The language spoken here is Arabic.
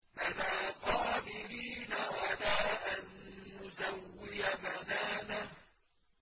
بَلَىٰ قَادِرِينَ عَلَىٰ أَن نُّسَوِّيَ بَنَانَهُ